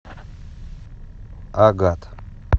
агат